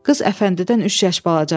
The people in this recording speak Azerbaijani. Qız Əfəndidən üç yaş balacadır.